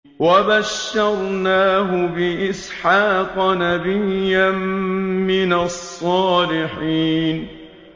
وَبَشَّرْنَاهُ بِإِسْحَاقَ نَبِيًّا مِّنَ الصَّالِحِينَ